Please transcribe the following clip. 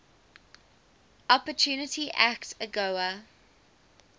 opportunity act agoa